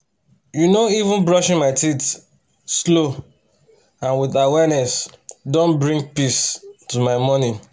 you know even brushing my teeth slow and with awareness don bring peace to my morning